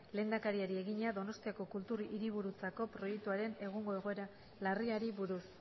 lehendakariari egina donostiako kultur hiriburutzako proiektuaren egungo egoera larriari buruz